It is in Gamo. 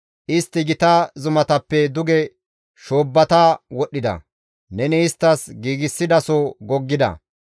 Istti gita zumatappe duge shoobbata wodhdhida; neni isttas giigsidaso goggida.